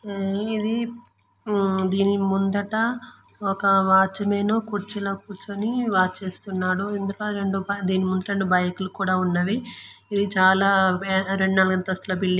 ఇది దీని ముందట ఒక వాచ్ మాన్ కుర్చీలో కూర్చొని వాచ్ చేస్తున్నాడు. దీని ముందట రెండు బైక్ లు కూడా ఉన్నవి. ఇది చాలా పెద్ద రెండు అంతస్తున బిల్డింగ్.